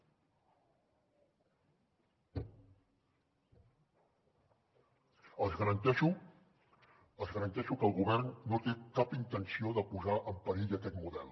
els garanteixo els garanteixo que el govern no té cap intenció de posar en perill aquest model